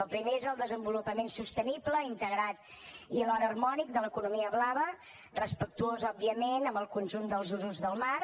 el primer és el desenvolupament sostenible integrat i alhora harmònic de l’economia blava respectuós òbviament amb el conjunt dels usos del mar